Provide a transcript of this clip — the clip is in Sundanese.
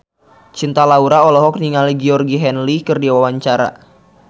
Cinta Laura olohok ningali Georgie Henley keur diwawancara